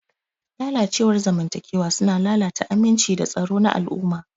Lalacewar zamantakewa suna lalata aminci da tsaro na al'umma.